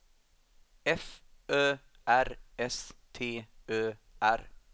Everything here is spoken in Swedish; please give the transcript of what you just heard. F Ö R S T Ö R